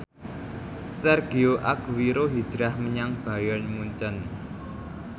Sergio Aguero hijrah menyang Bayern Munchen